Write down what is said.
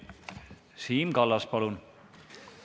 Siim Kallas, palun!